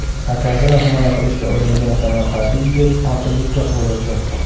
Akasini himoya qilishga uringan samarqandlik yigit qotillikka qo‘l urdi.